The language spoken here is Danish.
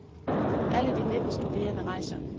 Alle de nitten studerende rejser.